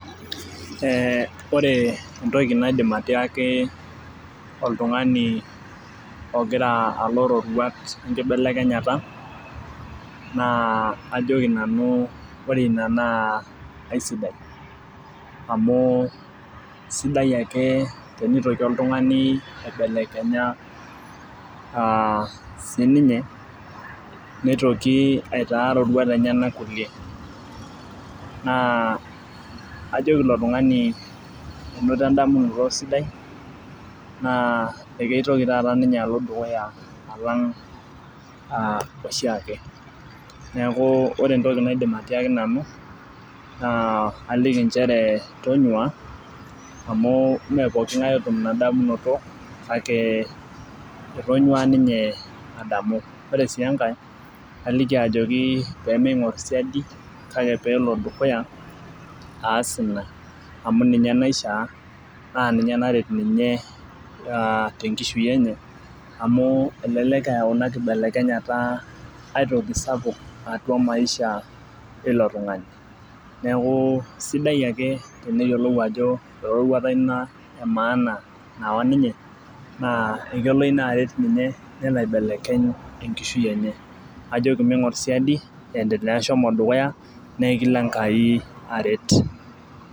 Ee ore entoki naidim atiaki oltungani ogira alo roruat wenkibelekenyata na ajoki nanu ore ina na aisidai amu sidai ake enitoki oltungani aibelekenya sininye nitoki aitaa roruat enyenak kulie, ajoki ilo tungani inoto eroruata sidai na akeitoki ninye alo dukuya oshiake neaku ore entoki naidim atoliki nanu na kajoki tonyua amu mepokingae oidim ainoto inadamunoto kake etonyou ninye adamu ore si enkae kaliki ajoki pemeingor siadi kake pelo dukuya aas ina amu ninue naisha na ninye naret ninye tenkishui enye na ninye nayau enkibelekenyata atua maisha ilo tungani neaku sidai ake eneyiolou ajo eroruata ina emaana nayawa ninye na kelo ina aret ninye nelo aibelekeny maisha enye, kajokimapedukuya na kelo enkai aret.